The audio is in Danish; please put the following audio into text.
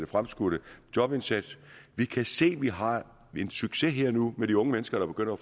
fremskudte jobindsats vi kan se at vi har en succes her og nu med de unge mennesker der begynder at